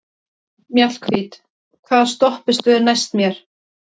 Mjallhvít, hvaða stoppistöð er næst mér?